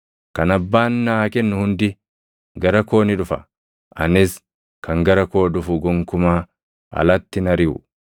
Kan Abbaan naa kennu hundi gara koo ni dhufa; anis kan gara koo dhufu gonkumaa alatti hin ariʼu.